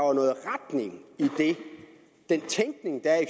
er i den tænkning der er i